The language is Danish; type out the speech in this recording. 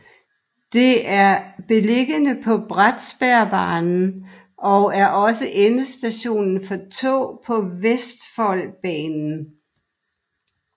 Det er beliggende på Bratsbergbanen og er også endestation for tog på Vestfoldbanen